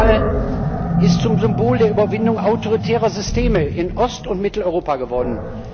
Der Mauerfall ist zum Symbol der Überwindung autoritärer Systeme in Ost und Mitteleuropa geworden.